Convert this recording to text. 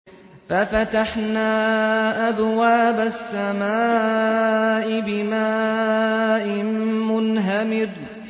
فَفَتَحْنَا أَبْوَابَ السَّمَاءِ بِمَاءٍ مُّنْهَمِرٍ